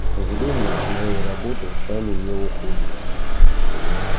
к сожалению с моей работы сами не уходят